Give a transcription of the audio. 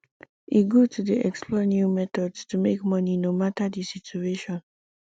e good to dey explore new methods to make money no matter di situation